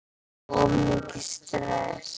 Of mikið stress?